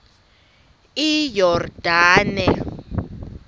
iyordane